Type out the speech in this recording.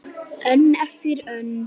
Önn eftir önn.